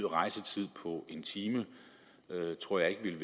rejsetid på en time tror jeg ikke vil